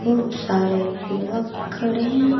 खूब सारे युवक खड़े हैं।